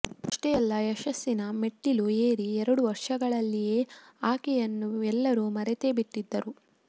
ಅಷ್ಟೇ ಅಲ್ಲ ಯಶಸ್ಸಿನ ಮೆಟ್ಟಿಲು ಏರಿ ಎರಡು ವರ್ಷಗಳಲ್ಲಿಯೇ ಆಕೆಯನ್ನು ಎಲ್ಲರೂ ಮರೆತೇ ಬಿಟ್ಟಿದ್ದರು